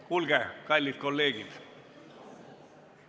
Kuulge, kallid kolleegid!